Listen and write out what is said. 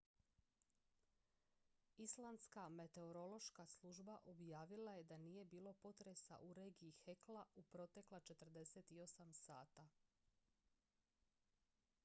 islandska meteorološka služba objavila je da nije bilo potresa u regiji hekla u protekla 48 sata